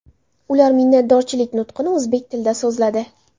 Ular minnatdorchilik nutqini o‘zbek tilida so‘zladi .